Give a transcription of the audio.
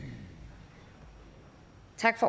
tak